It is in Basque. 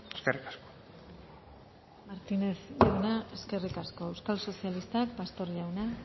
eskerrik asko martínez jauna eskerrik asko euskal sozialistak pastor jauna